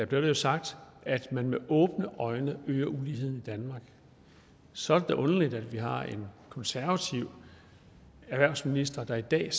blev det jo sagt at man med åbne øjne øger uligheden i danmark så er det da underligt at vi har en konservativ erhvervsminister der i dag